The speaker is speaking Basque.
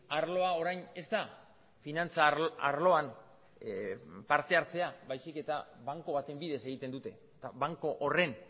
arloa orain ez da finantza arloan partehartzea baizik eta banku baten bidez egiten dute eta banku horren